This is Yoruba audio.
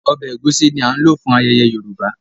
Ọbẹ̀ egusi ní ti a lò fún ayẹyẹ Yorùbá